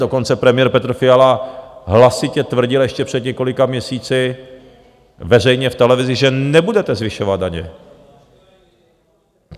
Dokonce premiér Petr Fiala hlasitě tvrdil ještě před několika měsíci veřejně v televizi, že nebudete zvyšovat daně.